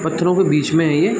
पत्थरों के बीच में है ये --